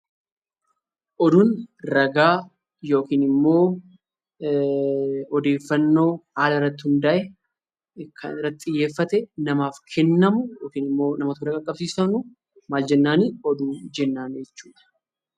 Oduun ragaa yookiin immoo odeeffannoo haala irratti hundaa'e kan irratti xiyyeeffatee namaaf kennamu yookiin immoo nama bira qaqqabsiisamu maal jennaanii? Oduu jennaanii jechuu dha.